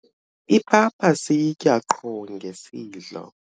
ipapa siyitya qho ngesidlo